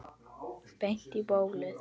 Beint í bólið.